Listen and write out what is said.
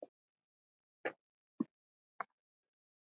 Hún er dáin, Friðrik minn.